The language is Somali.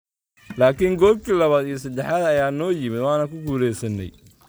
...laakin goolki labaad iyo sadexaad ayaa noo yimid waana ku guuleysanay."